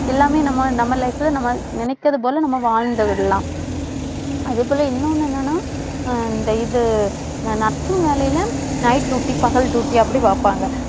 எல்லாமே நம்ம, நம்ம life ல நம்ம நினைக்கிறது போல நம்ம வாழ்ந்து விடலாம். அதே போல இன்னொன்னு என்னன்னா இந்த இது இந்த nursing வேலையில night duty பகல் duty அப்படி வைப்பாங்க.